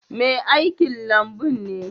Mai aikin lambun ne.